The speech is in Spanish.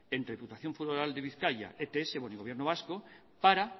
entre diputación foral de bizkaia ets y con el gobierno vasco para